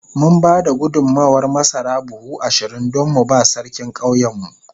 Mun ba da gudummawar masara buhu ashirin don mu ba Sarkin ƙauyenmu.